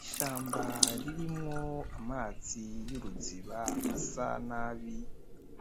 Ishamba ririmwo amazi y'uruziba asa nabi,